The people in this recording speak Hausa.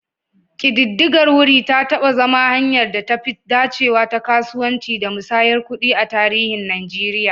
Ƙididdigar wuri ta taɓa zama hanyar da ta fi dacewa ta kasuwanci da musayar kuɗi a tarihin Najeriya.